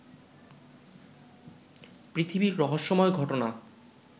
পৃথিবীর রহস্যময় ঘটনা